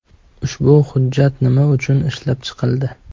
Ushbu hujjat nima uchun ishlab chiqildi?